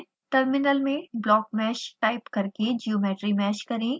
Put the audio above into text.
terminal में blockmesh type करके geometry mesh करें